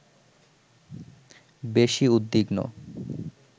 বেশি উদ্বিগ্ন